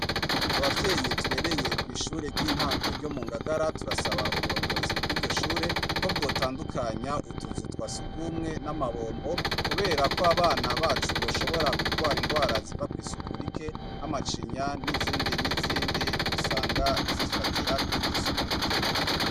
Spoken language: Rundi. Abavyeyi turereye kw'ishure ry'intango ryo mu Ngagara, turasaba uburongozi bw'iryo shure ko bwotandukanya utuzu twa surwumwe n'amabombo kubera ko abana bacu boshobora kugwara indwara ziva kw'isuku rike nk'amacinya n'izindi n'izindi usanga zifatira kw'isuku rike.